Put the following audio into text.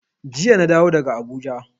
Jiya na dawo daga Abuja.